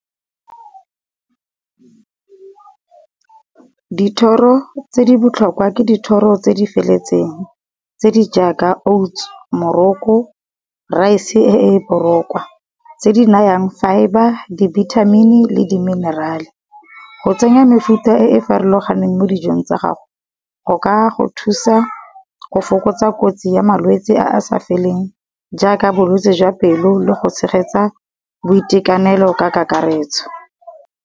Dithoro tse di botlhokwa ke dithoro tse di feletseng. Tse di jaaka oats, moroko, rice e e borokwa, tse di nayang fibre, dibithamini le di minerale. Go tsenya mefuta e e farologaneng mo dijong tsa gago, go ka go thusa go fokotsa kotsi ya malwetse a a sa feleng, jaaka bolwetsi jwa pelo le go tshegetsa boitekanelo ka kakaretso.